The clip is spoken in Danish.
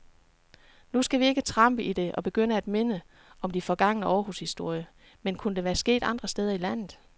Nu skal vi ikke trampe i det og begynde at minde om de forgangne århushistorier, men kunne det være sket andre steder i landet?